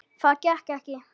Það gekk ekki